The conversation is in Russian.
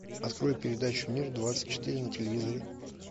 открой передачу мир двадцать четыре на телевизоре